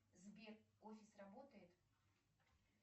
сбер офис работает